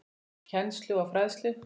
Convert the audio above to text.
Kennslu og fræðslu